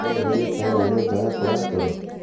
No uhorĩe tawa wa nyũmba yakwa ya toro?